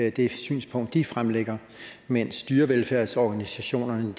i det synspunkt de fremlægger mens dyrevelfærdsorganisationerne